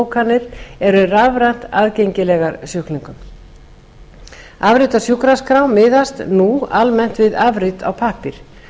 tímabókanir eru rafrænt aðgengilegar sjúklingum afrit af sjúkraskrá miðast nú almennt við afrit á pappír